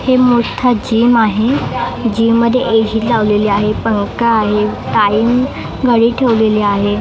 हे मोठं जिम आहे जिममध्ये एजी लावलेले आहे पंखा आहे टाइल गाडीत ठेवलेली आहे.